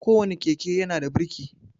Ko wane keke ya na da birki